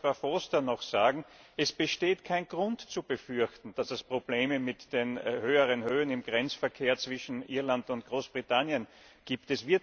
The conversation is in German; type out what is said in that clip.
Frau Foster möchte ich noch sagen Es besteht kein Grund zu befürchten, dass es Probleme mit den höheren Höhen im Grenzverkehr zwischen Irland und Großbritannien gibt.